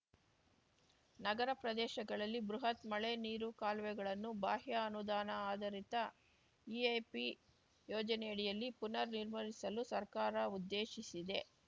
ನಗರ ಪ್ರದೇಶಗಳಲ್ಲಿ ಬೃಹತ್ ಮಳೆ ನೀರು ಕಾಲುವೆಗಳನ್ನು ಬಾಹ್ಯ ಅನುದಾನ ಆಧಾರಿತ ಇಐಪಿ ಯೋಜನೆಯಡಿಯಲ್ಲಿ ಪ್ರನರ್ ನಿರ್ಮಿಸಲು ಸರ್ಕಾರ ಉದ್ದೇಶಿಸಿದೆ